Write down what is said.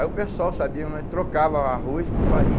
Aí o pessoal sabia, nós trocava arroz por farinha.